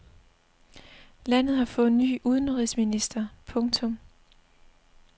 Landet har fået ny udenrigsminister. punktum